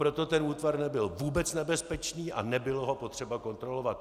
Proto tento útvar nebyl vůbec nebezpečný a nebylo ho potřeba kontrolovat.